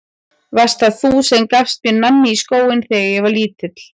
Varst það þú sem gafst mér nammi í skóinn þegar ég var lítill?